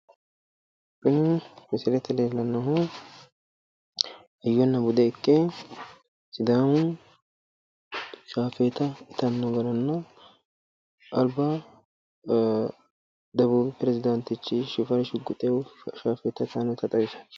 Kuni misilete leellannohu hayyonna bude ikke sidaamu shafeeta itannohuranna alba debuubi perezidaantichi shifarri shugguxehu shafeeta itayi noota xawisanno